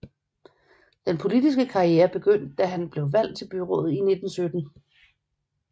Den politiske karriere begyndte da han blev valgt til byrådet i 1917